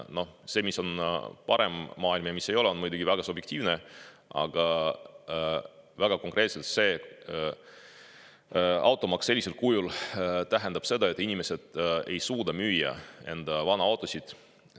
Noh, arusaam, mis on parem maailm ja mis ei ole, on muidugi väga subjektiivne, aga konkreetselt automaks sellisel kujul tähendab seda, et inimesed ei suuda müüa enda vanu autosid.